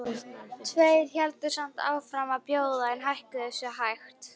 Tveir héldu samt áfram að bjóða en hækkuðu sig hægt.